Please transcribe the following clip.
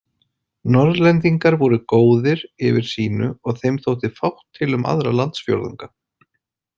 Norðlendingar voru góðir yfir sínu og þeim þótti fátt til um aðra landsfjórðunga.